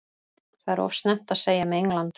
Það er of snemmt að segja með England.